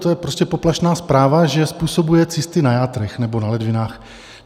to je prostě poplašná zpráva - že způsobuje cysty na játrech nebo na ledvinách.